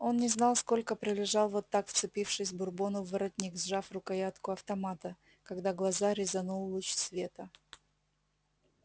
он не знал сколько пролежал вот так вцепившись бурбону в воротник сжав рукоятку автомата когда глаза резанул луч света